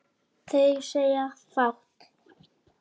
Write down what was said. Þeir segja fátt